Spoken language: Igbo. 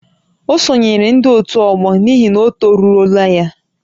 Ọ sonyeere ndị ótù ọgbọ n'ihi na ọ toruola ya